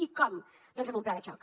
i com doncs amb un pla de xoc